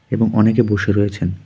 এবং অনেকে বসে রয়েছেন।